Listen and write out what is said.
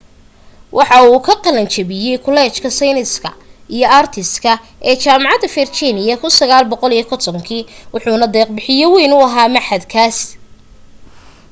waxa uu ka qalan jabiyay kuleejka sayniska & artiska ee jaamacada virginia 1950 kii wuxuna deeq bixye wayn u ahaa machadkaas